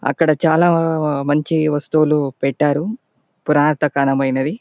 అక్కడ చాల మంచి వస్తువులు పెట్టాయారు పురాతకాలమైన అవి.